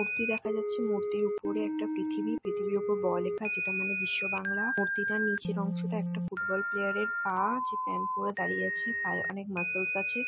মূর্তি দেখা যাচ্ছে মূর্তির উপরে একটা পৃথিবী। পৃথিবীর উপরে ব লেখা যেটা মানে বিশ্ব বাংলা। মূর্তিটা নিচের অংশটা একটা ফুটবল প্লেয়ারের পা যে প্যান্ট পড়ে দাঁড়িয়ে আছে। পায়ে অনেক মাসেলস আছে।